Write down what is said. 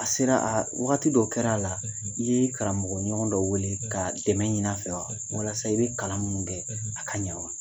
A sera a wakati dɔ kɛra a la i ye i karamɔgɔɲɔgɔn dɔ wele ka dɛmɛ ɲini a fɛ wa walasa i bɛ kalan ninnu kɛ a ka ɲa wa?